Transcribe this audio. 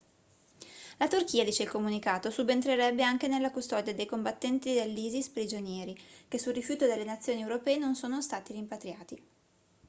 la turchia dice il comunicato subentrerebbe anche nella custodia dei combattenti dell'isis prigionieri che su rifiuto delle nazioni europee non sono stati rimpatriati